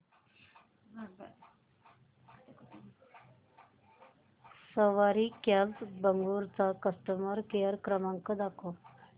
सवारी cabs Bengaluru चा customer care क्रमांक दाखवा